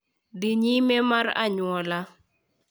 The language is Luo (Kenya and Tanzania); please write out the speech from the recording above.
Dhi nyime mar anyuola,